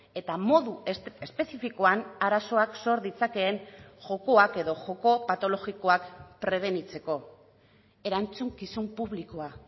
eta modu espezifikoan arazoak sor ditzakeen jokoak edo joko patologikoak prebenitzeko erantzukizun publikoa